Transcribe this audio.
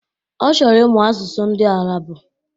Ọ chọrọ ịmụ asụsụ ndị Arabu